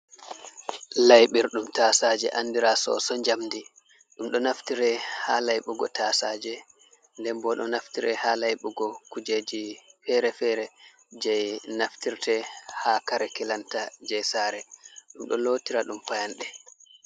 Laiburɗum tasaje andira soso jamdi, ɗum ɗo naftire ha laibugo ta saje nden bo ɗo naftire ha layɓugo kujeji fere-fere je naftirte ha kare kilanta je saare ɗum ɗo lotira ɗum fayanɗe.